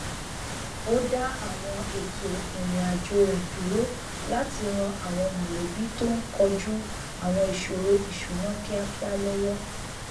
ó dá àwọn ètò ìrìn àjò rẹ dúró láti ran àwọn mọlẹbí tó n kojú àwọn ìṣoro ìṣúná kíákíá lọwọ